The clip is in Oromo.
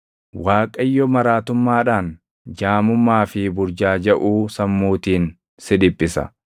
Waaqayyo maraatummaadhaan, jaamummaa fi burjaajaʼuu sammuutiin si dhiphisa.